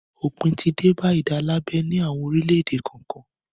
Òpin ti dé bá ìdálábẹ ní àwọn orílẹ̀-èdè kọ̀ọ̀kan.